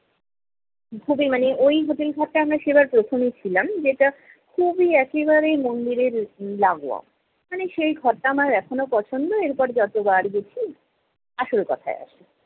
খুবই মানে ঐ hotel ঘরটায় আমরা সেবার প্রথমই ছিলাম, যেটা খুবই একেবারে মন্দিরের লাগোয়া। ওখানে সেই ঘরটা আমার এখনও পছন্দ, এরপর যতবার গেছি, আসল কথায় আসি।